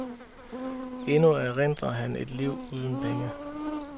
Endnu erindrer han et liv uden penge.